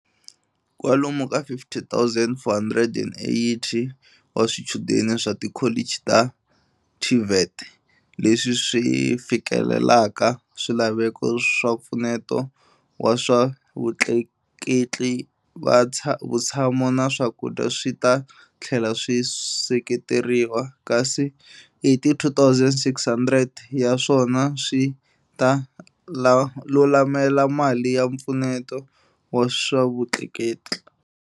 Kwalomu ka 50 480 wa swichudeni swa tikholichi ta TVET leswi swi fikelelaka swilaveko swa mpfuneto wa swa vutleketli, vutshamo na swakudya swi ta tlhela swi seketeriwa, kasi 82 600 ya swona swi ta lulamela mali ya mpfuneto wa swa vutleketli.